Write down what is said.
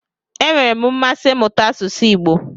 Enwere m mmasị imuta asụsụ Igbo.